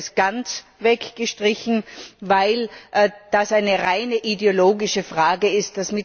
Ich hätte es ganz weggestrichen, weil das eine rein ideologische Frage ist.